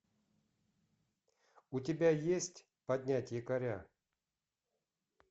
у тебя есть поднять якоря